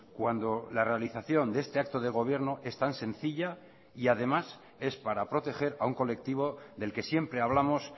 cuando la realización de este acto de gobierno es tan sencilla y además es para proteger a un colectivo del que siempre hablamos